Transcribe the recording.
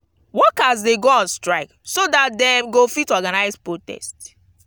workers de go on strike so that dem go fit organise protest